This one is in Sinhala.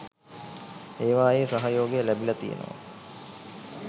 ඒවායේ සහයෝගය ලැබිල තියෙනවා